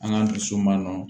An k'an dusu ma nɔgɔn